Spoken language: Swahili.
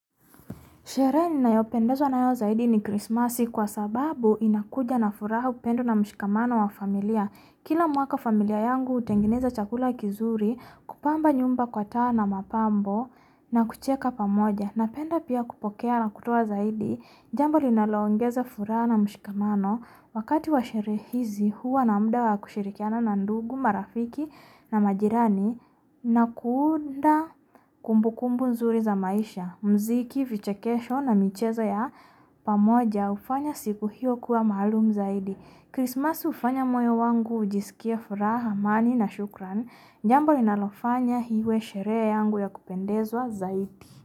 Shere ninayo pendeswa nayo zaidi ni Christmasi kwa sababu inakuja na furaha upendo na mshikamano wa familia. Kila mwaka familia yangu utengeneza chakula kizuri, kupamba nyumba kwa tawa na mapambo na kucheka pamoja. Napenda pia kupokea na kutowa zaidi. Jambo ninaloongeza furaha na mshikamano. Wakati wa shere hizi, huwa namuda wa kushirikiana na nandugu, marafiki na majirani, Nakunda kumbukumbu nzuri za maisha. Mziki vichekesho na michezo ya pamoja. Ufanya siku hiyo kua mahalum zaidi. Christmasi ufanya moyo wangu ujiskiye furaha, amani na shukran. Jambo linalofanya hiwe shere yangu ya kupendezwa zaidi.